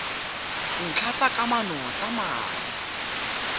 ntlha tsa kamano ka madi